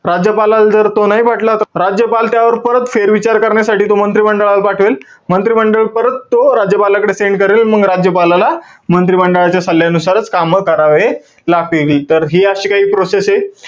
राज्यपालाला जर तो नाही पटला त, राज्यपाल त्यावर परत फेर विचार करण्यासाठी तो मंत्रिमंडळाला पाठवेल. मंत्रिमंडळ परत तो राज्यपालाकडे send करेल. मंग राज्यपालाला, मंत्री मंडळाच्या सल्ल्यानुसारच कामं करावे लागतील. तर हि अशी काही process ए.